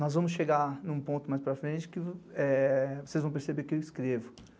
nós vamos chegar num ponto mais para frente que vocês vão perceber que eu escrevo.